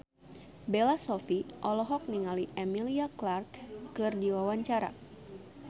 Bella Shofie olohok ningali Emilia Clarke keur diwawancara